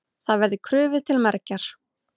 Það verði krufið til mergjar.